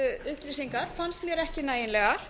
upplýsingar fannst mér ekki nægilegar